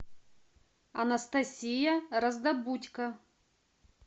анастасия раздобудько